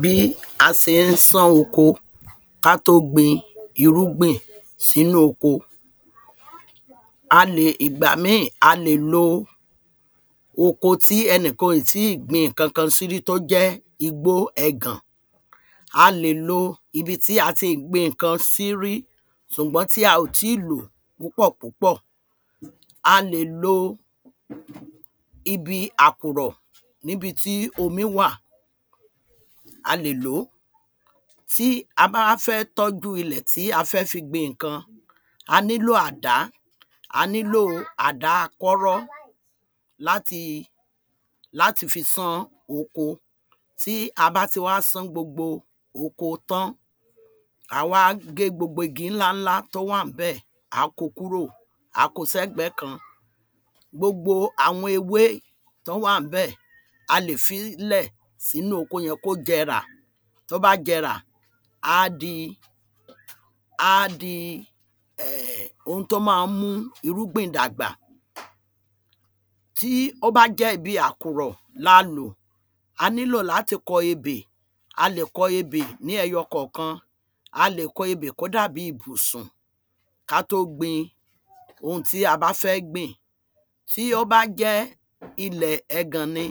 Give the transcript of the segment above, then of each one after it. bí a se ń sán oko ká tó gbin irúgbìn sínú oko ìgbà míì a lè lo oko tí ẹnìkan ò yì tí gbìn ǹkankan sí rí tó jẹ́ igbó ẹgàn a lè lo ibi tí a ti gbìn ǹkan sí rí ṣùgbọ́n tí a ò tí lò púpọ̀ púpọ̀ a lè lo ibi àkùrọ̀ níbi tí omi wà a lè ló tí a bá wá fẹ́ tójú ilè tí a fẹ́ fi gbin ǹkan a nílò àdá a nílò àdá kúọ́rọ́ láti láti fi san oko tí a bá ti wá sán gbogbo oko tán á wá gé gbogbo igi ńlá ńlá tó wá ń bẹ̀ á ko kúrò á ko sẹ́gbẹ̀ kan gbogbo àwọn ewé tọ́ wá ń bẹ̀ a lè fí lẹ̀ sínú oko yẹn kó jẹrà tó bá jẹrà á di á di ohun tó ma ń mú irúgbìn dàgbà tí ó á jẹ́ ibi àkùrọ̀ la lò a nílò láti kọ ebè a lè kọ ebè ní eyọ kọ̀ọ̀kan a lè kọ ebè kó dà bí bùsùn ká tó gbin ohun tí a bá fẹ́ gbìn tí ó bá jẹ́ ilẹ̀ ẹgàn ni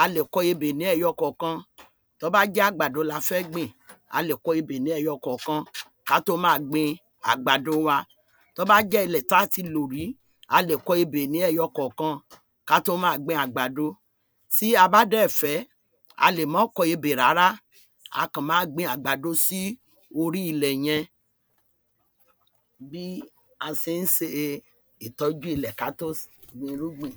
a lè kọ ebè ní eyọ kọ̀ọ̀kan tó bá jẹ́ àgbàdo la fẹ gbìn a lè kọ ebè ní eyọ kọ̀ọ̀kan ká tó ma gbin àgbàdo wa tó bá jẹ́ ilẹ̀ ta ti lò rí a lè kọ ebè ní eyọ kọ̀ọ̀kan ká tó ma gbin àgbàdo tí a bá dẹ̀ fẹ́ a lè mọ́ kọ ebè rárá a kọ̀ ma gbin àgbàdo sí orí ilẹ̀ yẹn bí a se ń se ìtọ̀jú ilẹ́ kátó gbin irúgbìn